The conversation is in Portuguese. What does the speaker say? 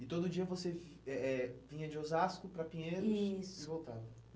E todo dia você eh eh vinha de Osasco para Pinheiros, isso, e voltava?